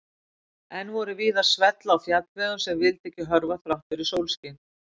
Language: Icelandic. Enn voru víða svell á fjallvegum sem vildu ekki hörfa þrátt fyrir sólskin.